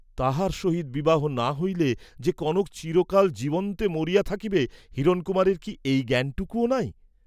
তাঁহার সহিত বিবাহ না হইলে যে কনক চিরকাল জীবন্তে মরিয়া থাকিবে হিরণকুমারের কি এই জ্ঞানটুকুও নাই?